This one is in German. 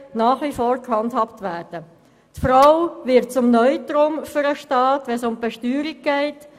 Wenn es um die Besteuerung geht, wird die Frau zum Neutrum für den Staat.